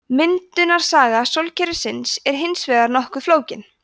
myndunarsaga sólkerfisins er hins vegar nokkuð flókin